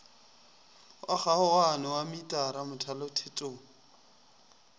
wa kgaogano wa metara mothalothetong